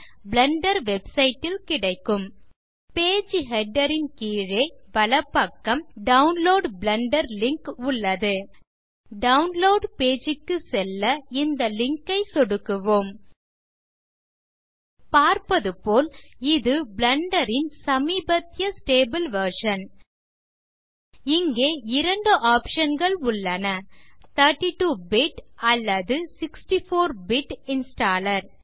Blender website ல் கிடைக்கும் page header ன் கீழே வலப்பக்கம் டவுன்லோட் பிளெண்டர் லிங்க் உள்ளது டவுன்லோட் பேஜ் க்கு செல்ல இந்த லிங்க் ஐ சொடுக்குவோம் பார்ப்பது போல் இது பிளெண்டர் ன் சமீபத்திய ஸ்டேபிள் வெர்ஷன் இங்கே இரண்டு ஆப்ஷன்ஸ் உள்ளன 32 பிட் அல்லது 64 பிட் இன்ஸ்டாலர்